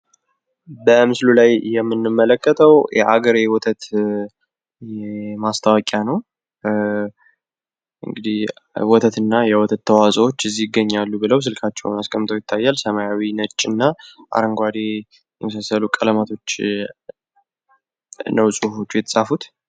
በምስሉ ላይ የምንመለከተው የአገሬ ወተት ማስታወቂያ ነው። እንግዲህ ወተትና የወተት ውጤቶች ከዚህ ይገኛሉ ብለው ስልካቸውን አስቀምጠው ይታያል። ሰማያዊ ነጭና አረንጓዴ የመሳስሉ ቀለማቶች ነው ጽሁፎቹ የተጻፉት